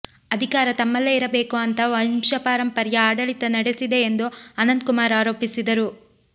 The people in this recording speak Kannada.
ಅಧಿಕಾರ ತಮ್ಮಲ್ಲೇ ಇರಬೇಕು ಅಂತ ವಂಶಪಾರಂಪರ್ಯ ಆಡಳಿತ ನಡೆ ಸಿದೆ ಎಂದು ಅನಂತ್ ಕುಮಾರ್ ಆರೋಪಿಸಿದರು